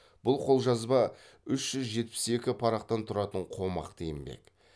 бұл қолжазба үш жүз жетпіс екінші парақтан тұратын қомақты еңбек